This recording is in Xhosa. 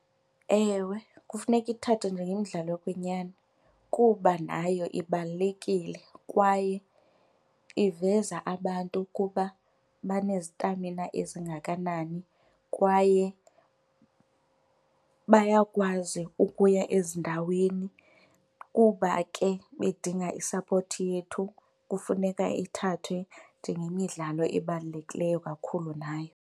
Ewe, kufuneka ithathwe njengemidlalo yokwenyani kuba nayo ibalulekile kwaye iveza abantu ukuba banezitamina ezingakanani kwaye bayakwazi ukuya ezindaweni. Kuba ke bedinga isapoti yethu, kufuneka ithathwe njengemidlalo ebalulekileyo kakhulu nayo.